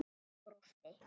Hann brosti.